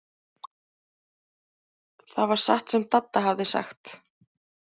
Það var satt sem Dadda hafði sagt.